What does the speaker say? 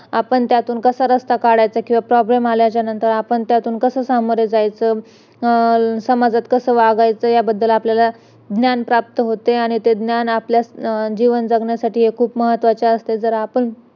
आपण त्यातून कसा रस्ता काढायचा किंवा problem आल्याच्या नंतर त्यातून कस सामोरे जायचं अं समाजात कस वागायचं त्या बद्दल आपल्याला ज्ञान प्राप्त होते आणि ते ज्ञान आपल्या जीवन जगण्यासाठी खूप महत्वाचं असत जर आपण